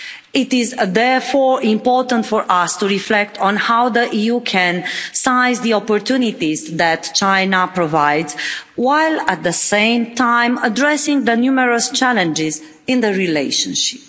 It is therefore important for us to reflect on how the EU can seize the opportunities that China provides, while at the same time addressing the numerous challenges in the relationship.